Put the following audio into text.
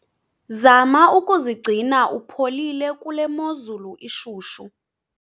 zama ukuzigcina upholile kule mozulu ishushu